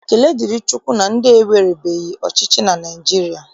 Ekele dịrị Chukwu na ndị ewerebeghị ọchịchị na Naịjirịa